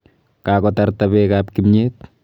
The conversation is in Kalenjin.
Kakotarta beekab kimnyet.